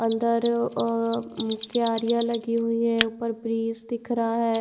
अंदर ओ अ क्यारियां लगी हुईं है ऊपर वृष दिख रहा है।